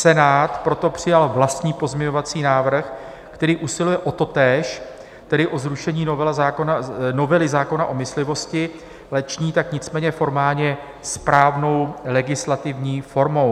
Senát proto přijal vlastní pozměňovací návrh, který usiluje o totéž, tedy o zrušení novely zákona o myslivosti, ale činí tak nicméně formálně správnou legislativní formou.